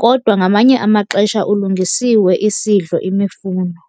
kodwa ngamanye amaxesha ulungisiwe isidlo imifuno.